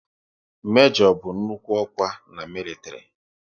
Mejo bụ nnukwu ọkwa na militiri